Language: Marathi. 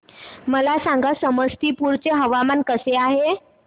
मला सांगा समस्तीपुर चे हवामान कसे आहे